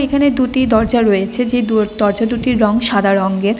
এখানে দুটি দরজা রয়েছে যে দুর দরজা দুটির রং সাদা রংগের।